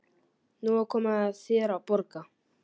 Nú er komið að þér að borga.